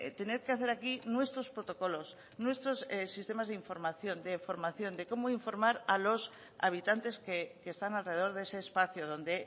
tener que hacer aquí nuestros protocolos nuestros sistemas de información de formación de cómo informar a los habitantes que están alrededor de ese espacio donde